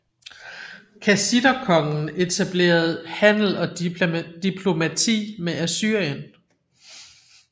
Kassiterkonger etablerede handel og diplomati med Assyrien